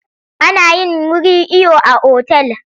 A nayin wuri iyo a otal.